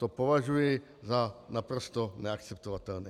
To považuji za naprosto neakceptovatelné.